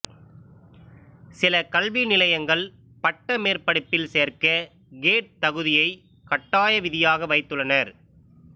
சில கல்விநிலையங்கள் பட்டமேற்படிப்பில் சேர்க்க கேட் தகுதியை கட்டாய விதியாக வைத்துள்ளனர்